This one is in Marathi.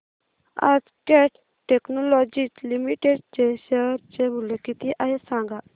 आज कॅट टेक्नोलॉजीज लिमिटेड चे शेअर चे मूल्य किती आहे सांगा